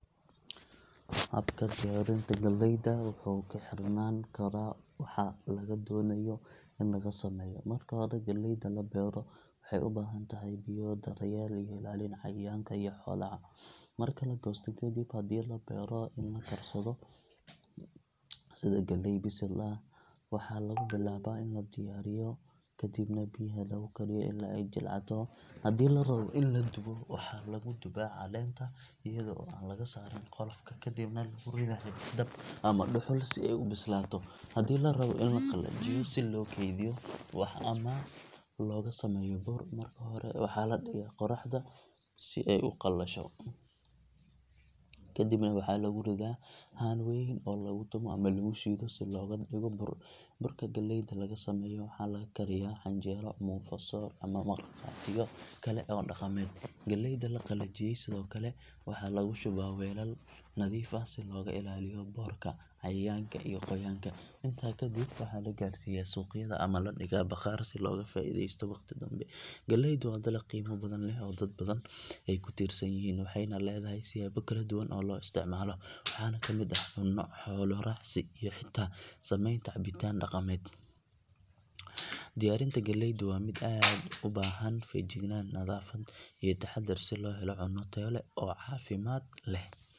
Habka diyaarinta galleyda wuxuu ku xirnaan karaa waxa laga doonayo in laga sameeyo. Marka hore galleyda la beero waxay u baahan tahay biyo, daryeel iyo ilaalin cayayaanka iyo xoolaha. Marka la goosto kadib, haddii la rabo in la karsado sida galley bisil ah, waxaa lagu bilaabaa in la diiriyo kadibna biyaha lagu kariyo ilaa ay jilcato. Haddii la rabo in la dubo, waxaa lagu duubaa caleenta iyada oo aan laga saarin qolofka kadibna lagu ridayaa dab ama dhuxul si ay u bislaato. Haddii la rabo in la qalajiyo si loo kaydiyo ama looga sameeyo bur, marka hore waxaa la dhigaa qoraxda si ay u qalasho kadibna waxaa lagu riddaa haan weyn oo lagu tumo ama lagu shiido si looga dhigo bur. Burka galleyda laga sameeyo waxaa laga kariyaa canjeero, muufo, soor ama markhaatiyo kale oo dhaqameed. Galleyda la qalajiyay sidoo kale waxaa lagu shubaa weelal nadiif ah si looga ilaaliyo boorka, cayayaanka iyo qoyaanka. Intaas kadib waxaa la gaarsiiyaa suuqyada ama la dhigaa bakhaar si looga faa’iideysto waqti dambe. Galleydu waa dalag qiimo badan leh oo dad badan ay ku tiirsan yihiin, waxayna leedahay siyaabo kala duwan oo loo isticmaalo, waxaana ka mid ah cunno, xoolo raacsi iyo xitaa sameynta cabitaan dhaqameed. Diyaarinta galleydu waa mid u baahan feejignaan, nadaafad iyo taxaddar si loo helo cunno tayo leh oo caafimaad leh.